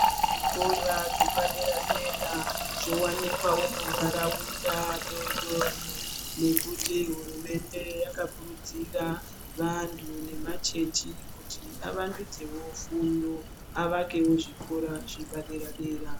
Zvikora zvepadera dera zvowakuwanikwawo munharaunda doodori ,ngekuti hurumende yakakurudzira vabtu nemachechi kuti avandudzewo fundo avakewo zvikora zvepa deradera.